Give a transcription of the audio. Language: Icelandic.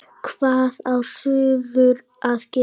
Hvað á suður að gera?